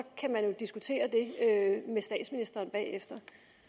kan man jo diskutere det med statsministeren bagefter